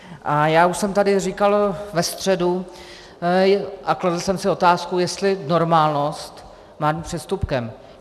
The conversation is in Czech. A já už jsem tady říkal ve středu a kladl jsem si otázku, jestli normálnost má být přestupkem.